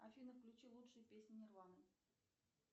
афина включи лучшие песни нирваны